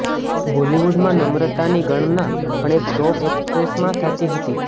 બોલીવુડમાં નમ્રતાની ગણના પણ એક ટોપ એક્ટ્રેસમાં થતી હતી